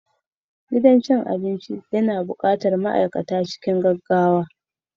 Gidan cin abinci yana buƙatar ma'aikata cikin gaggawa